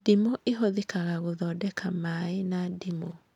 Ndimũ ĩhũthĩkaga gũthondeka maĩ na ndimũ